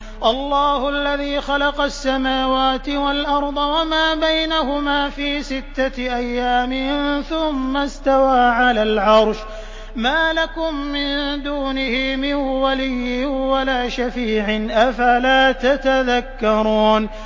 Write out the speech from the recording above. اللَّهُ الَّذِي خَلَقَ السَّمَاوَاتِ وَالْأَرْضَ وَمَا بَيْنَهُمَا فِي سِتَّةِ أَيَّامٍ ثُمَّ اسْتَوَىٰ عَلَى الْعَرْشِ ۖ مَا لَكُم مِّن دُونِهِ مِن وَلِيٍّ وَلَا شَفِيعٍ ۚ أَفَلَا تَتَذَكَّرُونَ